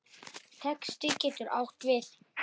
Texti getur átt við